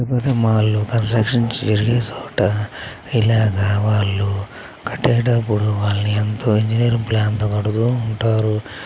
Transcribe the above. పెద్ద పెద్ద మాల్ లో కన్స్ట్రక్షన్స్ జరిగే చోట ఇలాగా వాళ్లు కట్టేటప్పుడు వాళ్లు ఎంతో ఇంజనీరింగ్ ప్లాన్ తో కడుతూ ఉంటారు.